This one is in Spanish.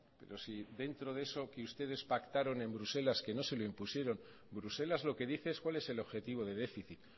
pero si dentro de eso que ustedes pactaron en bruselas que no se lo impusieron bruselas lo que dice es cuál es el objetivo de déficit